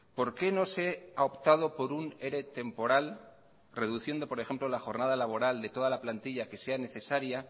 por qué no se ha optado por un ere temporal reduciendo por ejemplo la jornada laboral de toda la plantilla que sea necesaria